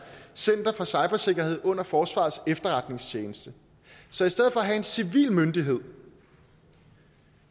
center for cybersikkerhed under forsvarets efterretningstjeneste så i stedet for at have en civil myndighed